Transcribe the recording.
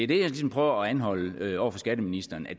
det jeg ligesom prøver at anholde over for skatteministeren at